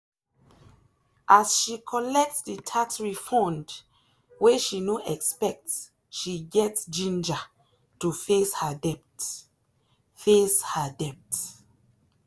as she collect the tax refund wey she no expect she get ginger to face her debt. face her debt.